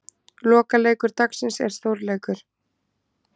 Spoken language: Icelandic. Lokaleikur dagsins er stórleikur.